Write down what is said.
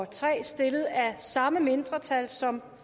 tre stillet af samme mindretal som